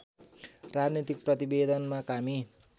राजनीतिक प्रतिवेदनमा कामी